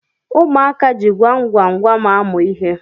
ụmụaka ji gwamgwamgwam amụ ihe